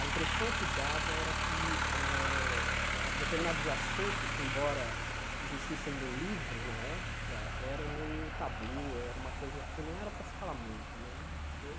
A impressão que dava era que eh a determinados assuntos, que embora existissem no livro na época, eram meio tabu, era uma coisa que não era para se falar muito né. Ele